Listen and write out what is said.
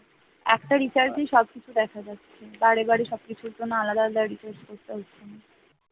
একটা recharge সবকিছু দেখা যাচ্ছে বারেবারে সবকিছুর জন্য আলাদা আলাদা recharge করতে হচ্ছে না।